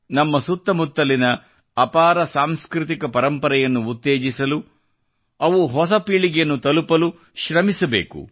ನಮ್ಮ ಸುತ್ತಮುತ್ತಲಿನ ಅಪಾರ ಸಾಂಸ್ಕೃತಿಕ ಪರಂಪರೆಯನ್ನು ಉತ್ತೇಜಿಸಲು ಅವು ಹೊಸ ಪೀಳಿಗೆಯನ್ನು ತಲುಪಲು ಶ್ರಮಿಸಬೇಕು